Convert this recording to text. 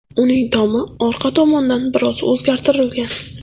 Uning tomi orqa tomondan biroz o‘zgartirilgan.